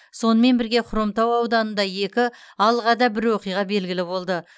сонымен бірге хромтау ауданында екі алғада бір оқиға белгілі болды